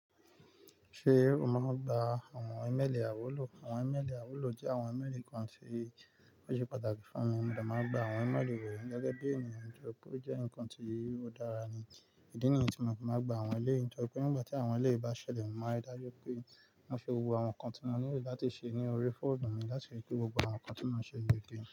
Ṣé o máa gba àwọn ímélì àwúlò? Àwọn ímélì àwúlò jẹ́ àwọn ímélì kan tí ó ṣe pàtàkì fún mi. Mo dà máa gba àwọn ímélì wọ̀nyí gẹ́gẹ́ bí ènìyàn. Nítorí pé ó jẹ́ nǹkan tí ó dára ni. Ìdí nìyí tí mo fi máa ń gba àwọn èléyi. Nítorí pé nígbà tí àwọn ẹ́ lẹ́yìn bá ṣẹlẹ̀, mo máa ri dájú pé wọ́n fi gbogbo àwọn nǹkan tí mo nílò láti ṣe ní orí fóònù mi láti ri pé gbogbo àwọn nǹkan tí mò ń ṣe yí dé.